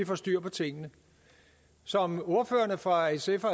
får styr på tingene som ordførerne fra sf og